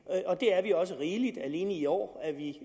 og det er vi også rigeligt alene i år er vi